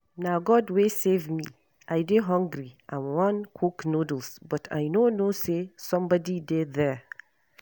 Na God wey save me. I dey hungry and wan cook noodles but I no know say somebody dey there.